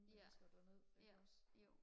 ja ja jo